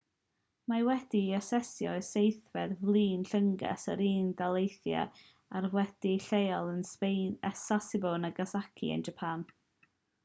mae wedi'i aseinio i seithfed fflyd llynges yr unol daleithiau ac wedi'i leoli yn sasebo nagasaki yn japan